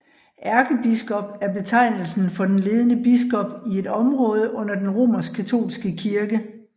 Ærkebiskop er betegnelsen for den ledende biskop i et område under den romerskkatolske kirke